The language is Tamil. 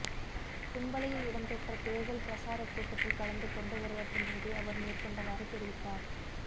தும்பளையில் இடம்பெற்ற தேர்தல் பிரசாரக் கூட்டத்தில் கலந்து கொண்டு உரையாற்றும் போதே அவர் மேற்கண்டவாறு தெரிவித்தார்